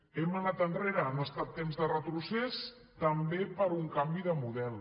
hem anat enrere han estat temps de retrocés també per un canvi de model